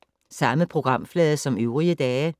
Samme programflade som øvrige dage